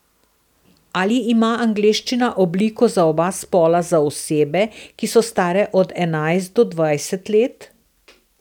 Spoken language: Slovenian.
Ali ima angleščina obliko za oba spola za osebe, ki so stare od enajst do dvajset let?